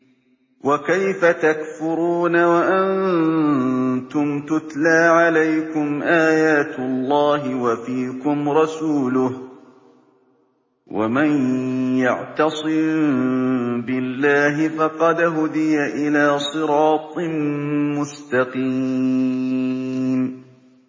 وَكَيْفَ تَكْفُرُونَ وَأَنتُمْ تُتْلَىٰ عَلَيْكُمْ آيَاتُ اللَّهِ وَفِيكُمْ رَسُولُهُ ۗ وَمَن يَعْتَصِم بِاللَّهِ فَقَدْ هُدِيَ إِلَىٰ صِرَاطٍ مُّسْتَقِيمٍ